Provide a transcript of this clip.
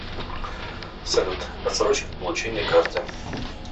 салют отсрочка получения карты